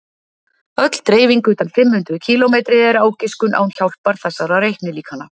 öll dreifing utan fimm hundruð kílómetri er ágiskun án hjálpar þessara reiknilíkana